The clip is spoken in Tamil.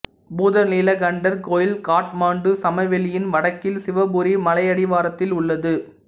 பூதநீலகண்டர் கோயில் காத்மாண்டு சமவெளியின் வடக்கில் சிவபுரி மலையடிவாரத்தில் உள்ளது